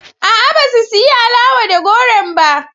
A'a, ba su siyi alawa da goron ba.